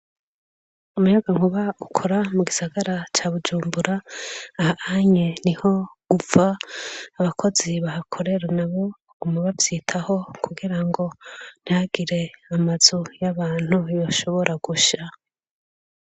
Umuyagankuba ukora mugisagara ca bujumbura aha anye niho uva. Abakozi bahakorera nabo baguma bavyitaho kugirango ntihagire amazu y'abantu yoshobora gusha.